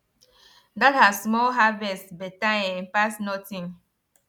that her small harvest better um pass nothing